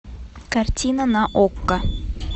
картина на окко